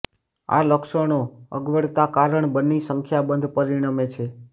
આ લક્ષણો અગવડતા કારણ બની સંખ્યાબંધ પરિણમે છે